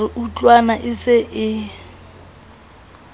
re utlwana e se e